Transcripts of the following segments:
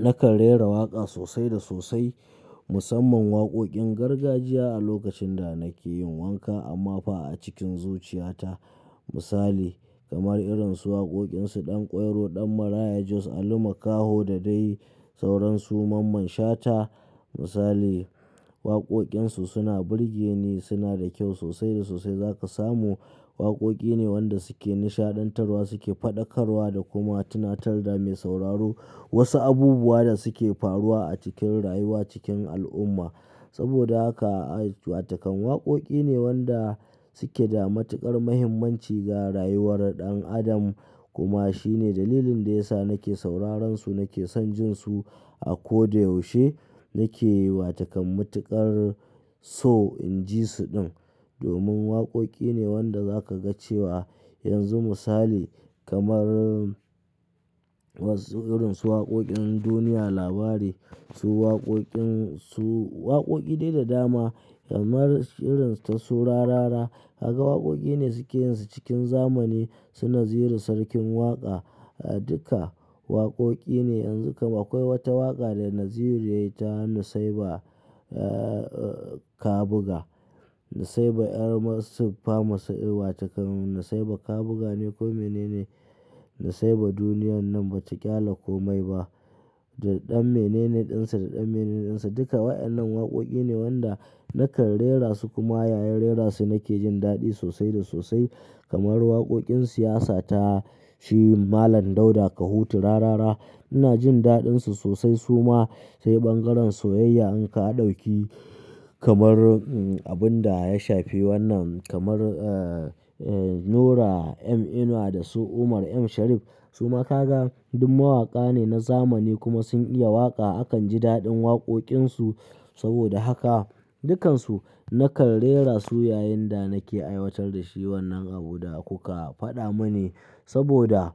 Nakan rera waƙa sosai da sosai, musamman waƙoƙin gargajiya a lokacin da nake yin wanka amma fa a cikin zuciyata, misali kamar irin su waƙoƙin su Ɗanƙwairo, Ɗan Maraya Jos, Ali Makaho da dai sauransu mamman Shata misali. Waƙoƙin su suna burge ni, suna da kyau sosai da sosai. Za ka samu waƙoƙi ne wanda suke nishaɗantarwa, suke faɗakarwa da kuma tunatar da mai sauraro wasu abubuwa da suke faruwa a cikin rayuwa cikin al'umma. Saboda haka ai wato kam waƙoƙi ne wanda suke da matuƙar muhimmanci ga rayuwar ɗan adam. Kuma shi ne dalilin da ya sa nake sauraron su, nake son jin su a ko da yaushe. Nake wato kam matuƙar so in ji su din domin waƙoƙi ne wanda za ka ga cewa yanzu misali kamar wasu irin su waƙoƙin duniya labari, su waƙoƙin su waƙoƙi dai da dama kamar irin ta su Rarara. Ka ga waƙoƙi ne suke yin su cikin zamani. Su Naziru Sarkin Waƙa, duka waƙoƙi ne. Yanzu kam akwai wata waƙa da Naziru yayi ta Nusaiba, eh, Kabuga. Nusaiba 'yar masu fama su irwa takan Nusaiba Kabuga ne ko mene ne. Nusaiba duniyan nan ba ta ƙyale komai ba. Da ɗan menene ɗinsa da ɗan menene ɗinsa. Duka waɗannan waƙoƙi ne wanda nakan rera su, kuma yayin rera su nake jin daɗi sosai da sosai kamar waƙoƙin siyasa ta shi Malam Dauda Kahutu Rarara. Ina jin daɗin su sosai su ma, sai ɓangaren soyayya in ka ɗauki kamar abun da ya shafi wannan kamar, eh, Nura M Inuwa da su Umar M Sharif. Su ma ka ga duk mawaƙa ne na zamani kuma sun iya waƙa. Akan ji daɗin waƙoƙin su saboda haka dukansu nakan rera su yayin da nake aiwatar da shi wannan abu da kuka faɗa mini saboda,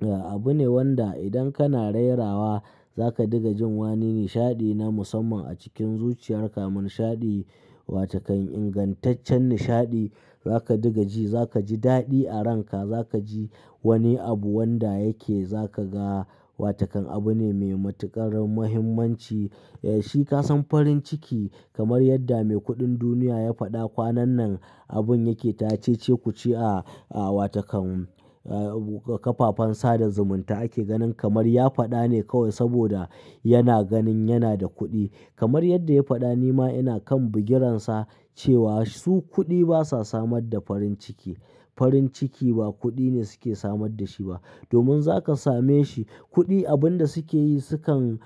eh, abu ne wanda idan kana rerawa za ka diga jin wani nishaɗi na musamman a cikin zuciyar ka. Nishaɗi wa takan ingantaccen nishaɗi za ka diga ji, za ka ji daɗi a ranka, za ka ji wani abu wanda yake za ka ga wa takan abu ne mai matuƙar muhimmanci. Eh, shi ka san farin ciki kamar yadda mai kuɗin duniya ya faɗa kwanan nan abun yake ta cece-kuce a, a wa takan, eh, kafafen sada zumunta ake ganin kamar ya faɗa ne kawai saboda yana ganin yana da kuɗi. Kamar yadda ya faɗa ni ma ina kan bugiransa cewa su kuɗi basa samar da farin ciki. Farin ciki ba kuɗi ne suke samar da shi ba domin za ka same shi. Kuɗi abun da suke yi sukan,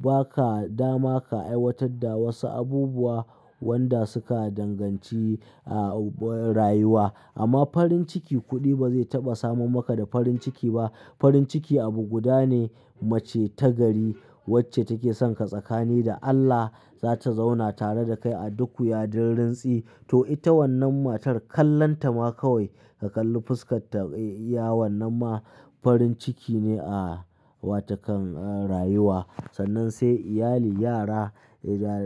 ba ka dama ka aiwatar da wasu abubuwa wanda suka danganci ahh rayuwa. Amma farin ciki kuɗi ba zai taɓa samar maka da farin ciki ba. Farin ciki abu guda ne mace ta gari wacce take son ka tsakani da Allah za ta zauna tare da kai a duk wuya duk rintsi. To ita wannan matar kallonta ma kawai ka kalli fuskar ta, iya wannan ma farin ciki ne a wa takan rayuwa. Sannan sai iyali, yara,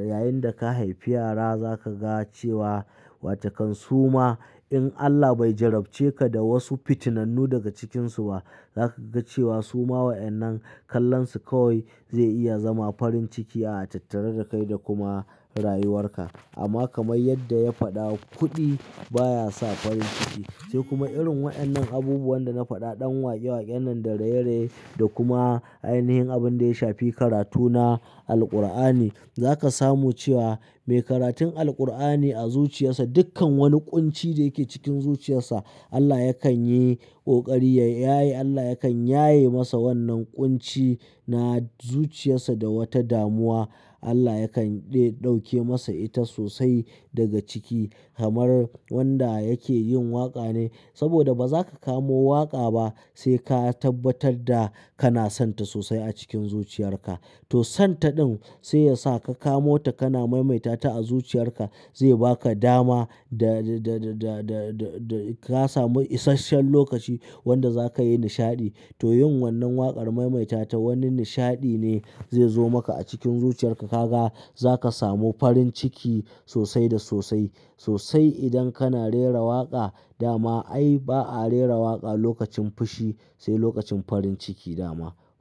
yayin da ka haifi yara za ka ga cewa wa takan su ma in Allah bai jarabce ka da wasu fitinnannu daga cikinsu ba za ka ga cewa su ma waɗannan kallon su kawai zai iya zama farin ciki a tattare da kai da kuma rayuwar ka. Amma kamar yadda ya faɗa kuɗi baya sa farin ciki. Sai kuma irin waɗannan abubuwan da na faɗa ɗan waƙe-waƙen nan da raye raye da kuma a yanayin abun da ya shafi karatu na Alqur'ani. Za ka samu cewa mai karatun Alqur'ani a zuciyarsa dukkan wani ƙunci da yake cikin zuciyarsa Allah yakan yi ƙoƙari ya yaye, Allah yakan yaye masa wannan ƙunci na zuciyarsa da wata damuwa. Allah yakan ɗauke masa ita sosai daga ciki kamar wanda yake yin waƙa ne saboda ba za ka kamo waƙa ba sai ka tabbatar da kana son ta sosai a cikin zuciyar ka. To son ta ɗin sai yasa ka kamo ta kana maimaita ta a zuciyar ka, zai ba ka dama da, da, da, da, da, da ka samu isashen lokaci wanda za ka yi nishaɗi. To yin wannan waƙar maimaita ta wani nishaɗi ne zai zo maka a cikin zuciyar ka. Ka ga za ka samu farin ciki sosai da sosai, sosai idan kana rera waƙa dama ai ba a rera waƙa lokacin fushi sai lokacin farin ciki dama.